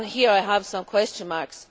And here I have some question marks.